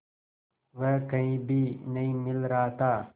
वह कहीं भी नहीं मिल रहा था